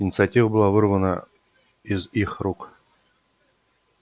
инициатива была вырвана из их рук